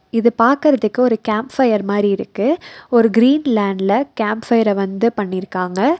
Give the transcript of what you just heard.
இது பாக்கற்துக்கு ஒரு கேம்ப் ஃபயர் மாரி இருக்கு ஒரு கீரீன் லேண்ட்ல கேம்ப் ஃபயர வந்து பண்ணிருக்காங்க.